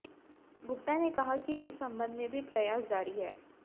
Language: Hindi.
गुप्ता ने कहा कि इस संबंध में भी प्रयास जारी हैं